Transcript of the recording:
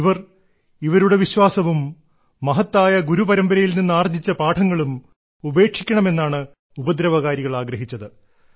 ഇവർ ഇവരുടെ വിശ്വാസവും മഹത്തായ ഗുരുപരമ്പരയിൽ നിന്ന് ആർജ്ജിച്ച പാഠങ്ങളും ഉപേക്ഷിക്കണമെന്നാണ് ഉപദ്രവകാരികൾ ആഗ്രഹിച്ചത്